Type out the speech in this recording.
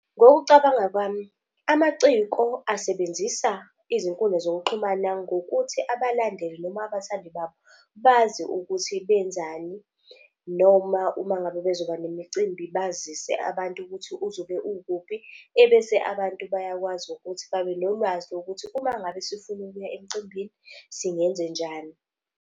Ngokucabanga kwami, amaciko asebenzisa izinkundla zokuxhumana ngokuthi abalandeli noma abathandi babo bazi ukuthi benzani. Noma uma ngabe bezoba nemicimbi bazise abantu ukuthi uzobe ukuphi, ebese abantu bayakwazi ukuthi babenolwazi lokuthi umangabe sifuna ukuya emicimbini singenzenjani.